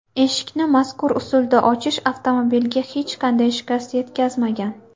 Eshikni mazkur usulda ochish avtomobilga hech qanday shikast yetkazmagan.